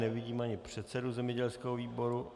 Nevidím ani předsedu zemědělského výboru.